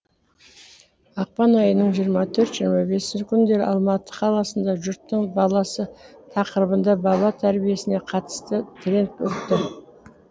ақпан айының жиырма төрт жиырма бесінші күндері алматы қаласында жұрттың баласы тақырыбында бала тәрбиесіне қатысты тренинг өтті